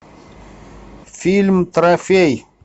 фильм трофей